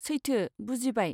सैथो, बुजिबाय।